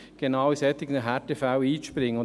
Genau bei solchen Härtefällen springt sie ein.